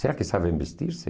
Será que sabem vestir-se?